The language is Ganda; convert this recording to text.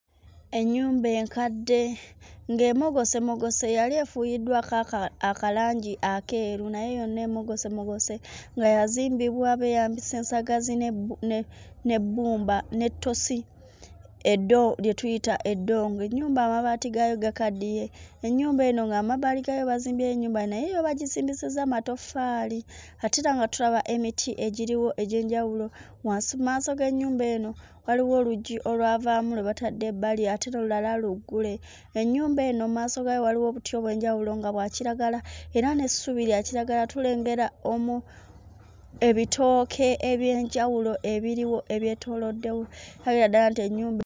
Ennyumba enkadde ng'emogosemogose yali efuuyiddwako aka akalangi akeeru naye yonna emogosemogose nga yazimbibwa beeyambisa ensagazi n'ebbu ne n'ebbumba n'ettosi eddo lye tuyita eddongo ennyumba amabaati gaayo gakaddiye. Ennyumba eno nga mu mabbali gaayo bazimbyeyo ennyumba naye yo bagizimbisizza matoffaali ate era nga tulaba emiti egiriwo egy'enjawulo wansi mmaaso g'ennyumba eno waliwo oluggi olwavaamu lwe batadde ebbali ate n'olulala luggule. Ennyumba eno mmaaso gaayo waliwo obuti obw'enjawulo nga bwa kiragala era n'essubi lya kiragala. Tulengera omu ebitooke eby'enjawulo ebiriwo ebyetooloddewo olabira ddala nti ennyumba.